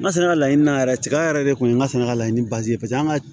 N ka sɛnɛ laɲini na yɛrɛ cɛya yɛrɛ de kun ye n ka sɛnɛ ka laɲini paseke an ga